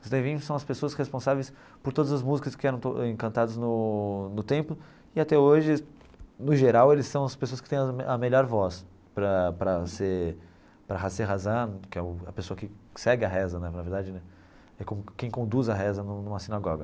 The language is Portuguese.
Os Levin são as pessoas responsáveis por todas as músicas que eram cantadas no no templo, e até hoje, no geral, eles são as pessoas que têm a a melhor voz para para ser, que é o a pessoa que segue a reza, na verdade né, é quem conduz a reza numa numa sinagoga.